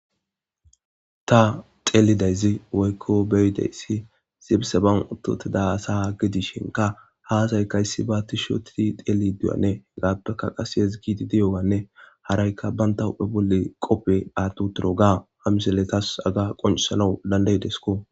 ta xeelidayzi woykko beyidayssi zibse ban uttotida asa gi dishinka haazayka yssi baatti shotidi xeeli duyane gaappeka qaseyes giidi diyowanne haraykka banta huphe bolle qope aaddu toro ga hamiselletas aga qoncesalou dandaydesko